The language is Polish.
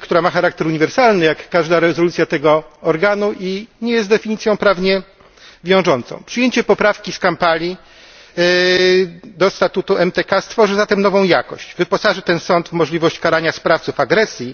która ma charakter uniwersalny, jak każda rezolucja tego organu, nie jest definicją prawnie wiążącą. Przyjęcie poprawki z Kampali do statutu MTK stworzy zatem nową jakość, wyposaży ten sąd w możliwość karania sprawców agresji